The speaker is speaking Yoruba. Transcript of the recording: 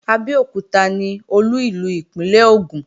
Abẹ́òkúta ni Olú ìlú ìpínlè Ògùn